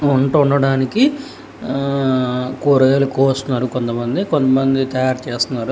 వంట వండటానికి కూరగాయలు కోస్తున్నారు కొంతమంది కొంతమంది తయారు చేస్తున్నారు.